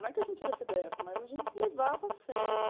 Não é que a gente era cê dê éfe, mas a gente levava a sério.